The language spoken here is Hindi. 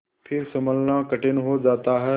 फिर सँभलना कठिन हो जाता है